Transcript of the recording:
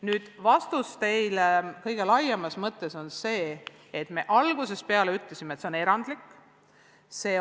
Nüüd, vastus teile kõige laiemas mõttes on see, et me algusest peale ütlesime, et tegemist on erandliku olukorraga.